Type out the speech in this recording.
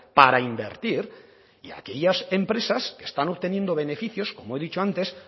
para invertir y a aquellas empresas que están obteniendo beneficios como he dicho antes